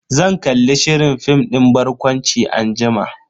Zan kalli shirin fim din barkwanci anjima.